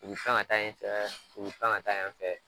U bi pan ka taa yen fɛ k u bi pan ka taa yan fɛ